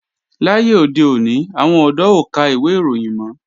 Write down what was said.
Láyé òde òní, àwọn ọ̀dọ́ ò ka ìwé ìròyìn mọ́